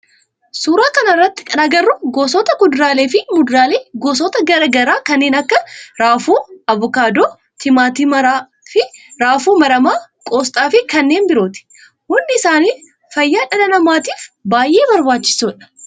Suuraa kana irratti kan agarru gosoota kuduraalee fi muduraalee gosoota garaa garaa kanneen akka raafuu, avokaadoo, timaatima raafuu maramaa, qoosxaa fi kanneen birooti. Hundi isaanii fayyaa dhala namaatiif baayyee barbaachisoodha.